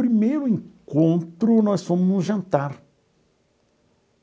Primeiro encontro, nós fomos num jantar